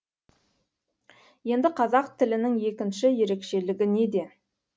енді қазақ тілінің екінші ерекшелігі неде